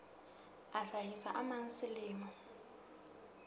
a hlahisa a mang selemo